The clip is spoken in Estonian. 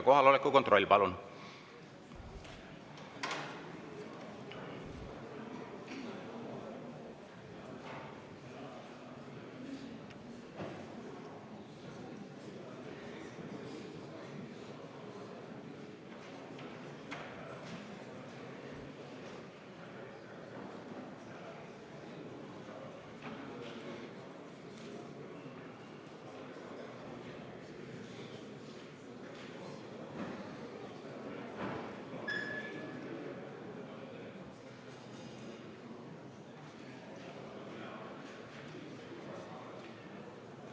Kohaloleku kontroll, palun!